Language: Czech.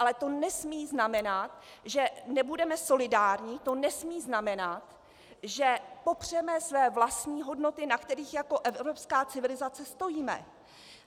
Ale to nesmí znamenat, že nebudeme solidární, to nesmí znamenat, že popřeme své vlastní hodnoty, na kterých jako evropská civilizace stojíme.